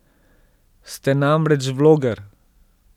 Ste namreč vloger.